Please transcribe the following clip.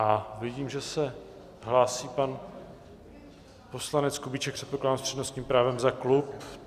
A vidím, že se hlásí pan poslanec Kubíček, předpokládám s přednostním právem za klub.